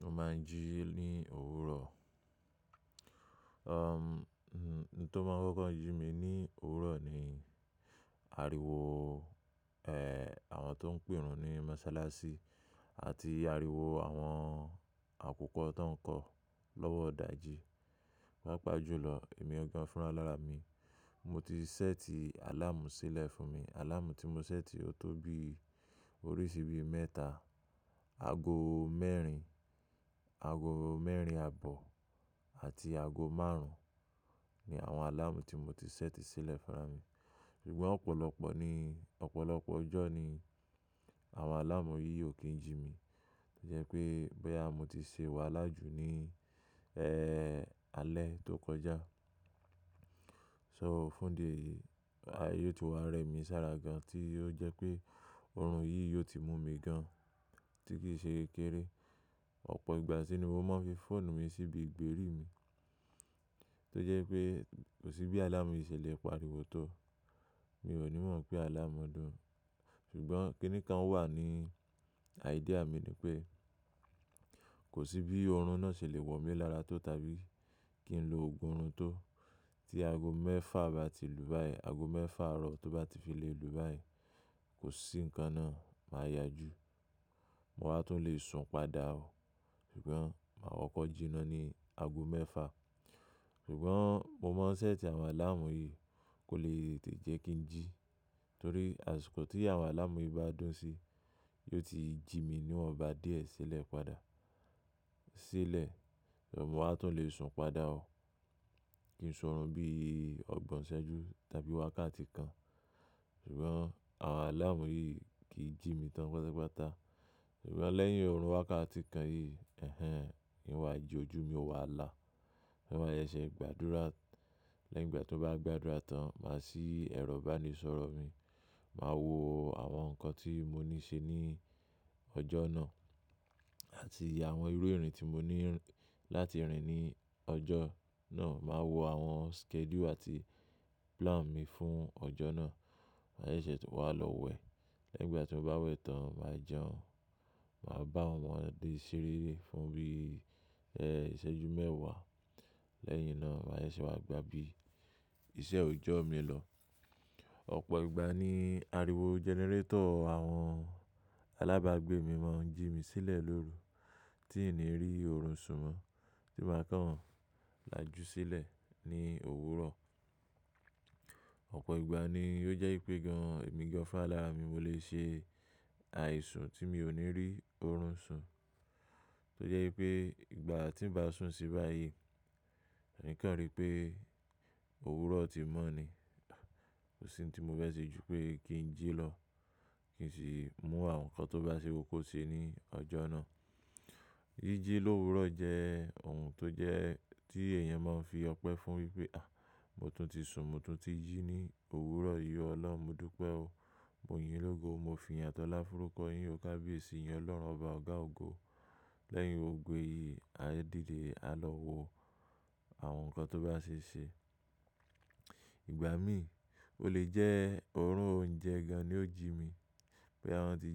Mo máa ń jí ní òwúrọ̀. Um, n-n-n tó máa ń kọ́kọ́ jí mi ní òwúrọ̀ ni ariwo, e, àwọn tó ń pèrun ní mọ́sálásí àti ariwo àwọn akúkọ ton kọ́ lọ́wọ́ ìdàjí. Pápá jù lọ èmi gangan fúnránlára mi. Mo ti set alarm sílẹ̀ fún mi. Alarm tí mo set o tó bí oríṣi bí mẹ́ta, ago mẹ́rin, ago mẹ́rin àbọ̀ àti ago márùn-ún ni àwọn alarm tí mo ti set sílẹ̀ fúnra mi. Ṣùgbọ́n ọ̀pọ̀lọpọ̀ ni, ọ̀pọ̀lọpọ̀ ọjọ́ ni àwọn alarm yìí ò kin jí mi. Ó jẹ pé bóyá mọ́ ti ṣe wàhálà jú ní, ẹ́, alẹ́ tó kọjá. So, fún ìdí eyìí, a yíò ti wà rẹ mi sára gan tí ó jẹ pé orun yìí yóò ti mú mi gan tí kì í ṣe kékeré. Ọ̀pọ̀ ìgbà sí ni mo máa ń fi fóònù mi síbi ìgbérí mi tó jẹ pé kò sí bí alarm yìí ṣe le pariwo tó. Mi ò ní mọ̀ pé àláàmù dùn, ṣùgbọ́n kíni kan wà ní idea mi ni pé kò sí bí ọ̀run náà ṣe le wọ̀ mí lára tó tàbí kí n lo ogún orun tó tí ago mẹ́fà bá ti lù báyìí, ago mẹ́fà ọ̀rọ̀ tó bá ti fi lè lù báyìí kò sí nǹkan náà, màá yá jù. Mo wa tún lè sun padà o. Ṣùgbọ́n màá kọ́kọ́ jí ná ní ago mẹ́fà. Ṣùgbọ́n mo máa ń set àwọn alarm yìí kò lè tètè jẹ́ kí ń jí torí àsìkò tí àwọn alarm yìí bá dún sí, yóò ti jí mi níwọn bá díẹ̀ sílẹ̀ padà, sílẹ̀. Mo máa tún lè sun padà o. Kìn ṣe ọ̀run bí ọgbọ̀n iṣẹ́jú tàbí wákàtí kan. Ṣùgbọ́n àwọn alarm yìí kì í jí mi tán pátápátá. Ṣùgbọ́n lẹ́yìn ọ̀run wákàtí kan yìí, ẹ̀hen, ì n wà jí ójú mi ó wà lá. Ì n wa ṣe ṣe gbàdúrà. Lẹ́yìn ìgbà tí mo bá gba àdúrà tán, màá ṣí ẹ̀rọ ìbánisọ̀rọ̀ mi, màá wo àwọn nǹkan tí mo ní ṣe ní ọjọ́ náà àti àwọn irú irin tí mo ní láti rìn ní ọjọ́ náà. Màá wo àwọn schedule àti plan mi fún ọjọ́ náà. Màá ṣe ṣe tún wà lọ wẹ̀. Lẹ́yìn ìgbà tí mo bá wẹ̀ tán, màá jẹun. Màá bá àwọn ọmọdé ṣeré fún bí, ẹ́, iṣẹ́jú mẹ́wàá. Lẹ́yìn náà, màá ṣe ṣe wà gbá bí iṣẹ́ òjọ́ mi lọ. Ọ̀pọ̀ ìgbà ni ariwo generator àwọn alábàágbé mi máa ń jí mi sílẹ̀ lóru tí n nì rí ọ̀run sún mọ́ tí màá kàn lájú sílẹ̀ ní òwúrọ̀. Ọ̀pọ̀ ìgbà ni ó jẹ́ pé gan èmi gan fúnrálára mi mo lè ṣe àìsùn tí mi ò ní rí ọ̀run sùn tó jẹ́ pé ìgbà tí ń bá sùn sí báyìí, n kan rí pé òwúrọ̀ ti mọ́ ni. Kò sí ohun tí mo fẹ́ ṣe ju pé kí ń jí lọ, kí sì mú àwọn nǹkan tó bá ṣe kókó ṣe ní ọjọ́ náà. Yíjí l'òwúrọ̀ jẹ́ ohun tó jẹ́ tí èèyàn máa ń fi ọpẹ́ fún wípé, "Àh! Mo tún ti sun, mo tún ti jí ní òwúrọ̀ yì Ọlọ́run modúpẹ́ o. Moyin lógo, mo fi ìyìn àti ọlá fọ́rúkọ yín o kábíyèsí, ìyìn Ọlọ́run Ọba ọ̀gá ògo." Lẹ́yìn gbogbo èyí, a dìde a lọ wo àwọn nǹkan tó bá ṣe ṣe. Ìgbà mí, ó lè jẹ́ ọ̀run òúnjẹ gan-an ni ó jí mi bóyá wọn tí